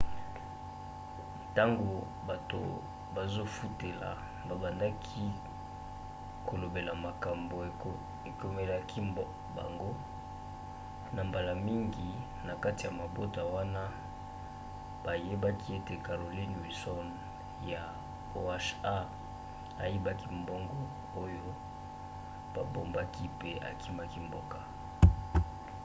ntango bato bazofutela babandaki kolobela makambo ekomelaki bango na mbala mingi na kati ya mabota wana bayebaki ete carolyn wilson ya oha ayibaki mbongo oyo babombaki pe akimaki mboka